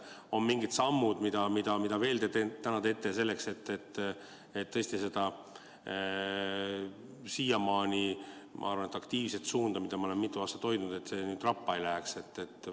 Kas on veel mingid sammud, mida te teete selleks, et tõesti see siiamaani, ma arvan, aktiivne suund, mida ma olen mitu aastat hoidnud, nüüd rappa ei läheks?